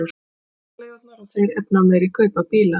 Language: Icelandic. Bílaleigurnar og þeir efnameiri kaupa bíla